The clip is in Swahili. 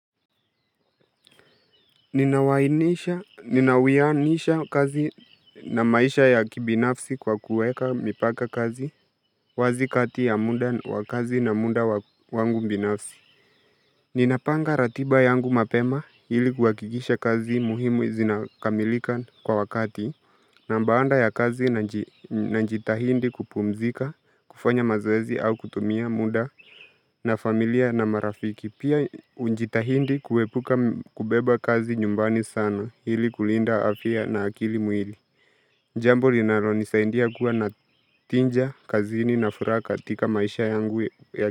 Ninauwianisha kazi na maisha ya kibinafsi kwa kuweka mipaka kazi wazi kati ya muda wa kazi na muda wangu binafsi. Ninapanga ratiba yangu mapema ili kuhakikisha kazi muhimu zinakamilika kwa wakati na baanda ya kazi najitahidi kupumzika, kufanya mazoezi au kutumia muda na familia na marafiki. Pia hujitahidi kuepuka kubeba kazi nyumbani sana hili kulinda afya na akili mwili. Njambo linalonisaidia kuwa na tija, kazini na furaha katika maisha yangu ya.